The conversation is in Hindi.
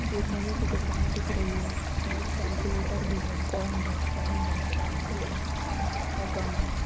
स्टेशनरी की दुकान दिख रही है इसमें एक केल्क्युलेटर भी है गोंद है पेन है पेन्सिल है और गम है।